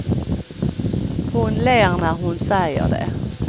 Hon ler när hon säger det.